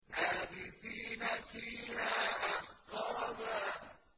لَّابِثِينَ فِيهَا أَحْقَابًا